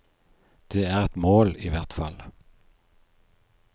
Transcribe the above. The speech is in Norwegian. Det er et mål, i hvert fall.